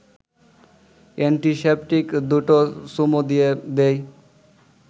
antiseptic দুটো চুমু দিয়ে দেই